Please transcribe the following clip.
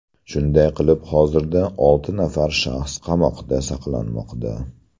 Shunday qilib hozirda olti nafar shaxs qamoqda saqlanmoqda.